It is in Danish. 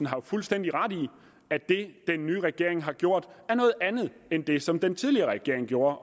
har fuldstændig ret i at det den nye regering har gjort er noget andet end det som den tidligere regering gjorde